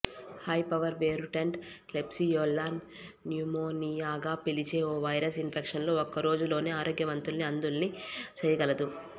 hypervirulent Klebsiella న్యుమోనియాగా పిలిచే ఓ వైరస్ ఇన్ఫెక్షన్తో ఒక్కరోజులోనే ఆరోగ్యవంతుల్ని అంధుల్ని చేయగలదు